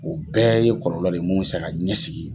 O bɛɛ ye kɔlɔlɔ de mun bɛ se ka ɲɛsin